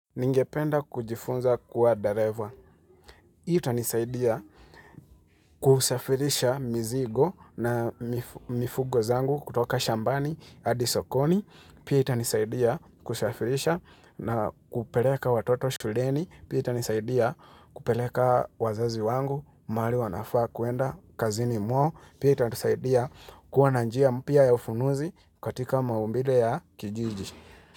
Ningependa kujifunza kuwa dereva. Itanisaidia kusafirisha mizigo na mifugo zangu kutoka shambani, hadisokoni. Pia itanisaidia kusafirisha na kupeleka watoto shuleni. Pia itanisaidia kupeleka wazazi wangu, mahali wanafaa kuenda kazini mwao. Pia itanisaidia kuwa na njia mpya ya ufunuzi katika maumbile ya kijiji.